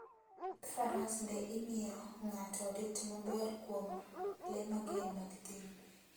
Wuoth faras be imiyo ng'ato rit maber kuom le mager mag thim